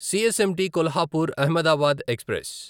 CSMT Kolhapur Ahmedabad express